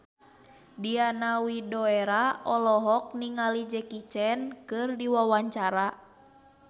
Diana Widoera olohok ningali Jackie Chan keur diwawancara